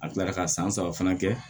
A kilara ka san saba fana kɛ